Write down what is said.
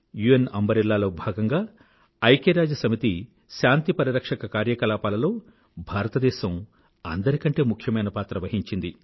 UN umbrella లో భాగంగా ఐక్యరాజ్యసమితి శాంతి పరిరక్షక కార్యకలాపాలలో భారతదేశం అందరి కంటే ముఖ్యమైన పాత్ర వహించింది